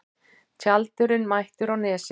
Tjaldurinn mættur á Nesið